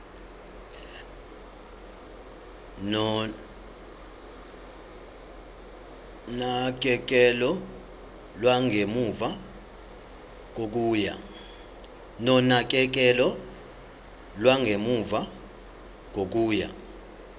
nonakekelo lwangemuva kokuya